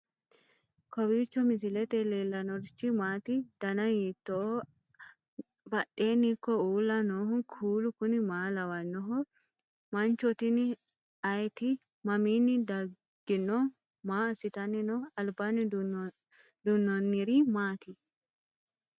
kowiicho misilete leellanorichi maati ? dana hiittooho ?abadhhenni ikko uulla noohu kuulu kuni maa lawannoho? mancho tini ayeti mamiinni daggino maa assitanni no albaanni duunnonniri maati